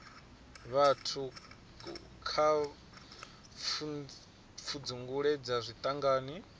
vhathu kha pfudzungule dza zwiṱangani